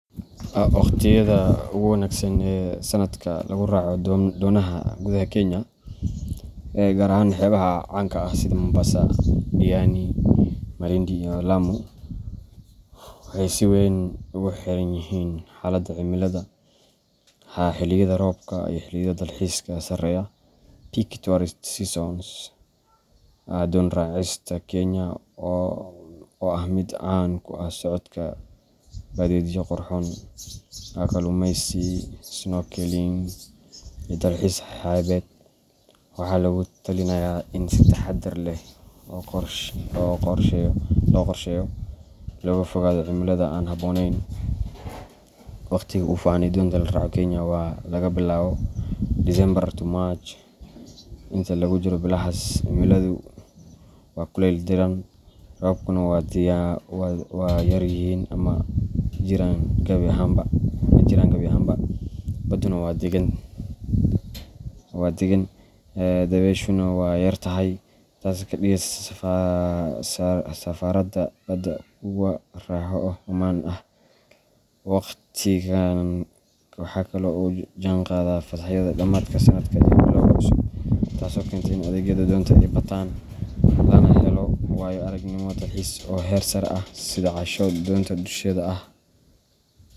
Waqtiyada ugu wanaagsan ee sannadka lagu raaco doonaha gudaha Kenya gaar ahaan xeebaha caanka ah sida Mombasa, Diani, Malindi, iyo Lamu waxay si weyn ugu xiran yihiin xaaladda cimilada, xilliyada roobka, iyo xilliyada dalxiiska sareeya peak tourist seasons. Doon raacista Kenya, oo ah mid caan ku ah socod badeedyo qurxoon, kalluumeysi, snorkeling, iyo dalxiis xeebeed, waxaa lagu talinayaa in si taxaddar leh loo qorsheeyo si looga fogaado cimilada aan habboonayn. Waqtiga ugu fiican ee doonta lagu raaco Kenya waa laga bilaabo December to March. Inta lagu jiro bilahaas, cimiladu waa kulayl diiran, roobabkuna waa yar yihiin ama ma jiraan gabi ahaanba. Badduna waa deggan, dabayshuna way yar tahay, taasoo ka dhigeysa safarrada badda kuwo raaxo leh oo ammaan ah. Waqtigan waxa kale oo uu la jaanqaadaa fasaxyada dhammaadka sannadka iyo bilowga cusub, taasoo keenta in adeegyada doonta ay bataan, lana helo waayo-aragnimo dalxiis oo heer sare ah sida casho doonta dusheeda ah.